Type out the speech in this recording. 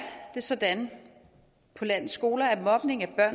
det sådan på landets skoler at mobning er